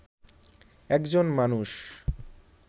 একজন মানুষ